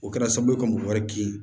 O kɛra sababu ye ka mɔgɔ wɛrɛ gɛn